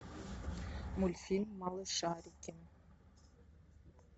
мультфильм малышарики